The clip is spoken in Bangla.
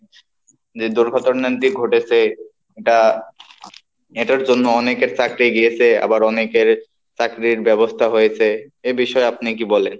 যে দুর্ঘটনাটি ঘটেছে এটা এটার জন্য অনেকের চাকরি গিয়েছে, আবার অনেকের চাকরির ব্যবস্থা হয়েছে এ বিষয়ে আপনি কি বলেন?